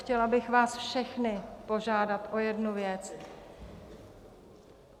Chtěla bych vás všechny požádat o jednu věc.